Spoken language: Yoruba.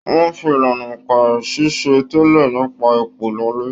Wọn fí ìlànà óńka ṣiṣẹ-n-tẹle nípa ipò lọlẹ.